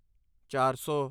ਚਾਰ ਸੌ